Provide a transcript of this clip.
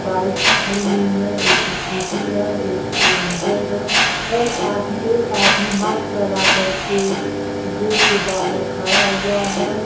Bikes खड़ी हुई है एक स्कूटी है एक ऐवेंजर्स है और आ एक आदमी माक्स लगा करके गेट के बाहर खड़ा हुआ है।